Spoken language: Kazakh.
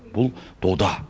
бұл дода